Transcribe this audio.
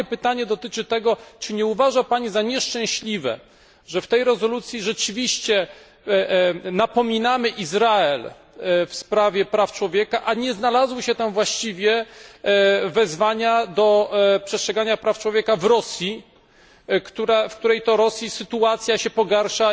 Moje pytanie dotyczy jednak tego, czy nie uważa Pani za nieszczęśliwe, że w tej rezolucji rzeczywiście napominamy Izrael w sprawie praw człowieka, a nie znalazły się tam właściwie wezwania do przestrzegania praw człowieka w Rosji, gdzie sytuacja się pogarsza.